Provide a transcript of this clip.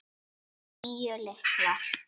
Níu lyklar.